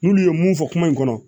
N'olu ye mun fɔ kuma in kɔnɔ